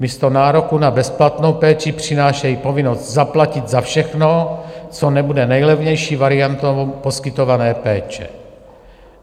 Místo nároku na bezplatnou péči přinášejí povinnost zaplatit za všechno, co nebude nejlevnější variantou poskytované péče.